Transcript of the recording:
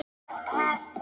En hvernig gengur salan?